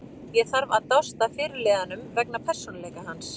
Ég þarf að dást að fyrirliðanum vegna persónuleika hans.